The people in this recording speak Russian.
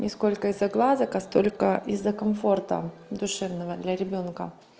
не сколько из-за глазок а столько из-за комфорта душевного для ребёнка